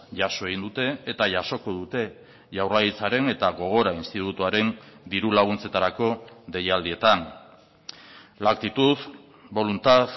jaso egin dute eta jasoko dute jaurlaritzaren eta gogora institutuaren diru laguntzetarako deialdietan la actitud voluntad